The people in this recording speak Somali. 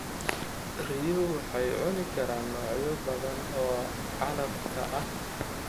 Riyuhu waxay cuni karaan noocyo badan oo calafka ah.